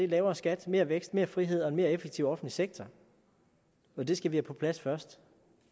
lavere skat mere vækst mere frihed og en mere effektiv offentlig sektor og det skal vi have på plads først